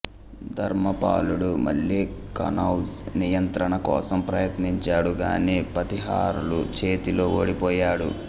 ధర్మపాలుడు మళ్ళీ కనౌజ్ నియంత్రణ కోసం ప్రయత్నించాడు గానీ ప్రతీహారుల చేతిలో ఓడిపోయాడు